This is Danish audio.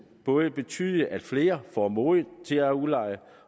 både betyde at flere får mod til at udleje